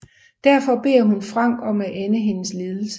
Derfor beder hun Frank om at ende hendes lidelser